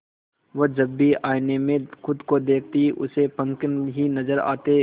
वह जब भी आईने में खुद को देखती उसे पंख ही नजर आते